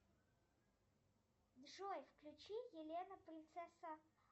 джой включи елена принцесса